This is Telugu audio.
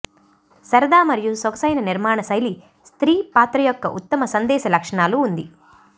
సరదా మరియు సొగసైన నిర్మాణ శైలి స్త్రీ పాత్ర యొక్క ఉత్తమ సందేశ లక్షణాలు ఉంది